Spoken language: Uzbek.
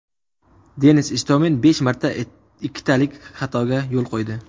Denis Istomin besh marta ikkitalik xatoga yo‘l qo‘ydi.